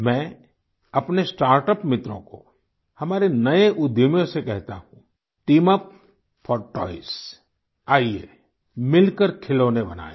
मैं अपने स्टार्टअप मित्रों को हमारे नए उद्यमियों से कहता हूँ टीम यूपी फोर टॉयज़ आइए मिलकर खिलौने बनाएं